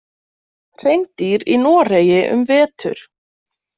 Hreindýr í Noregi um vetur.